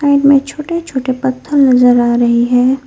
Side में छोटे छोटे पत्थर नजर आ रहे हैं।